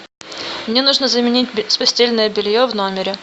мне нужно заменить постельное белье в номере